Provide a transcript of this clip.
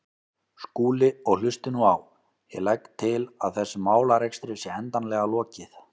Skúli, og hlustið nú á: Ég legg til að þessum málarekstri sé endanlega lokið.